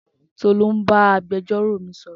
Tolú bá agbẹjọ́rò mi sọ̀rọ̀